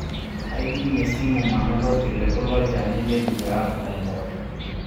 Aidimie esimu manoto ilkiliku lonchani le eriaa oo mpoosho